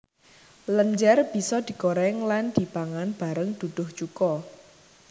Lenjer bisa digoreng lan dipangan bareng duduh cuko